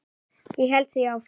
Ég held því áfram.